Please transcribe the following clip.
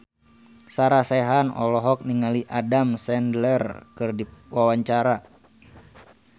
Sarah Sechan olohok ningali Adam Sandler keur diwawancara